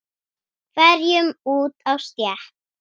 hverjum út á stétt.